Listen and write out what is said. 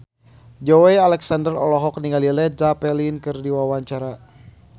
Joey Alexander olohok ningali Led Zeppelin keur diwawancara